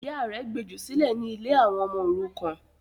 Ìyá rẹ̀ gbejù sílẹ̀ ní ” ilé àwọn ọmọ òrukàn”